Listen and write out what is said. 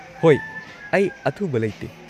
ꯍꯣꯏ, ꯑꯩ ꯑꯊꯨꯕ ꯂꯩꯇꯦ꯫